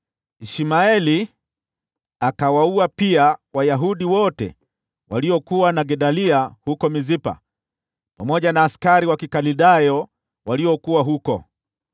Ishmaeli akawaua pia Wayahudi wote waliokuwa na Gedalia huko Mispa, pamoja na askari wa Kikaldayo waliokuwa huko.